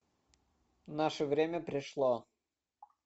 наше время пришло